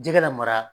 Jɛgɛ la mara